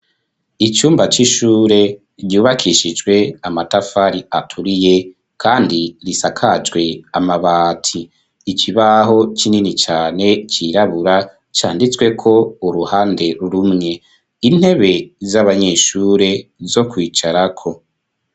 Icumba c'ishure, ryubakishijwe amatafari aturiye, kandi risakajwe amabati. Ikibaho kinini cane cirabura, canditsweko uruhande rumwe. Intebe z'abanyeshure zo kwicarako.